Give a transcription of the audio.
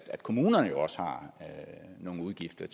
kommunerne jo også har nogle udgifter